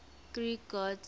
greek gods